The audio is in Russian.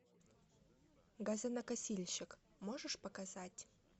газонокосильщик можешь показать